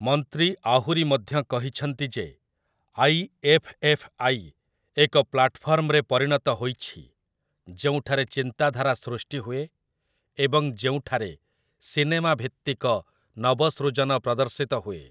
ମନ୍ତ୍ରୀ ଆହୁରି ମଧ୍ୟ କହିଛନ୍ତି ଯେ ଆଇ.ଏଫ୍‌.ଏଫ୍‌.ଆଇ. ଏକ ପ୍ଲାଟଫର୍ମରେ ପରିଣତ ହୋଇଛି ଯେଉଁଠାରେ ଚିନ୍ତାଧାରା ସୃଷ୍ଟି ହୁଏ ଏବଂ ଯେଉଁଠାରେ ସିନେମା ଭିତ୍ତିକ ନବସୃଜନ ପ୍ରଦର୍ଶିତ ହୁଏ।